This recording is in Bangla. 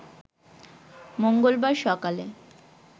মঙ্গলবার সকালে